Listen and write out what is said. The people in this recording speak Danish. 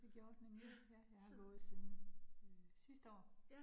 Det gjorde det nemlig. Ja, jeg har gået siden øh sidste år